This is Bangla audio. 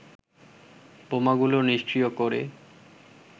বোমাগুলো নিষ্ক্রীয় করে